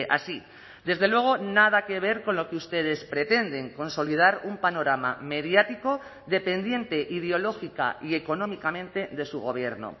así desde luego nada que ver con lo que ustedes pretenden consolidar un panorama mediático dependiente ideológica y económicamente de su gobierno